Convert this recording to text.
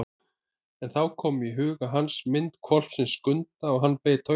En þá kom í huga hans mynd hvolpsins Skunda og hann beit á jaxlinn.